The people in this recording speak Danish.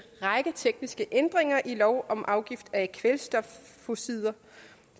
række tekniske ændringer i lov om afgift af kvælstofoxider